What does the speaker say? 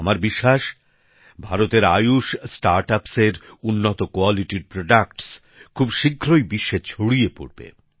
আমার বিশ্বাস ভারতের আয়ুষ স্টার্টআপ্সের উন্নত গুণমানের পণ্য খুব শীঘ্রই বিশ্বে ছড়িয়ে পড়বে